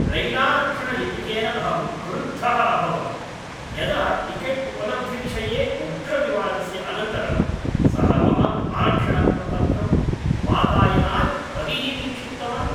रैलारक्षणलिपिकेन अहं क्रुद्धः अभवं यदा टिकेट्उपलब्धिविषये उग्रविवादस्य अनन्तरं सः मम आरक्षणप्रपत्रं वातायनात् बहिः निक्षिप्तवान्।